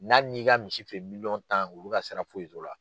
N'a n'i ka misi feere miliyɔn tan olu ka sira foyi t'o la.